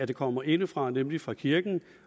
det kommer indefra nemlig fra kirken